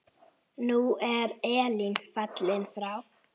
Nú er Elín fallin frá.